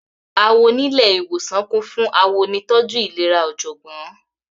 Àwọńilẹ̀ iwosan kún fún Àwọńoníìtọjú ilẹ̀rà ojọ́gbón.